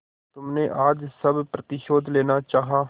तुमने आज सब प्रतिशोध लेना चाहा